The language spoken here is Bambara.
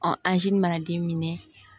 anzi mana den minɛ